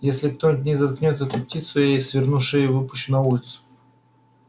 если кто-нибудь не заткнёт эту птицу я ей сверну шею и выпущу на улицу